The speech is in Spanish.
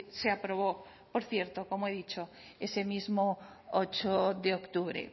se aprobó por cierto como he dicho ese mismo ocho de octubre